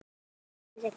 Þín Regína.